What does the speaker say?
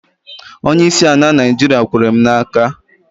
Onyeisi ala Naịjiria kwere m n'aka